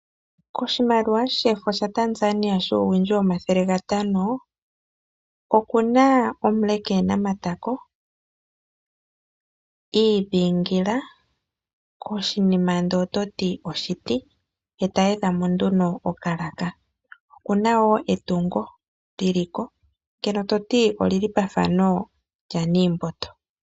Koshimaliwa shefo shaTanzania shuuwindji 500 oku na omule ke na matako, i idhingila koshinima shafa oshiti eta edha mo nduno okalaka. Okuna wo etungo lyili ko ndyoka lyafa efano lyaNiimboto.